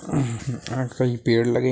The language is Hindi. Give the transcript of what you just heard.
अ कई पेड़ लगे --